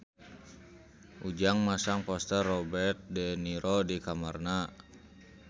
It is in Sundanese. Ujang masang poster Robert de Niro di kamarna